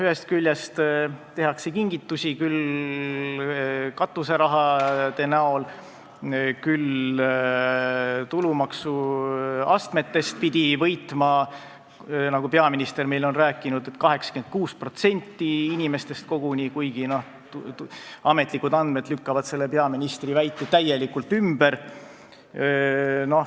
Ühest küljest tehakse kingitusi katuserahana, siis pidi tulumaksuastmetest võitma, nagu peaminister meile on rääkinud, 86% inimestest koguni, kuigi ametlikud andmed lükkavad selle peaministri väite täielikult ümber.